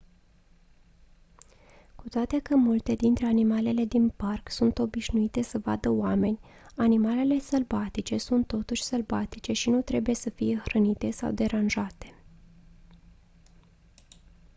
cu toate că multe dintre animalele din parc sunt obișnuite să vadă oameni animalele sălbatice sunt totuși sălbatice și nu trebuie să fie hrănite sau deranjate